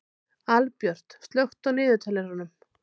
Albjört, slökktu á niðurteljaranum.